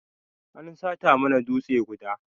An sata mana dutsan guda.